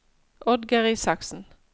Oddgeir Isaksen